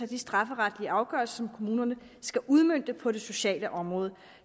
de strafferetlige afgørelser som kommunerne skal udmønte på det sociale område